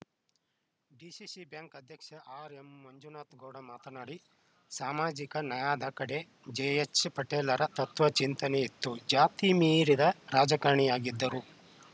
DCC bank ಅಧ್ಯಕ್ಷ R M Manjunathagowda ಮಾತನಾಡಿ ಸಾಮಾಜಿಕ ನ್ಯಾಯದ ಕಡೆಗೆ ಜೆಎಚ್‌ ಪಟೇಲರ ತತ್ವ ಚಿಂತನೆ ಇತ್ತು ಜಾತಿ ಮೀರಿದ ರಾಜಕಾರಣಿಯಾಗಿದ್ದರು